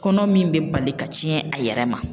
Kɔnɔ min bɛ bali ka tiɲɛ a yɛrɛ ma